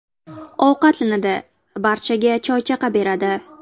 Ovqatlanadi, barchaga choy-chaqa beradi.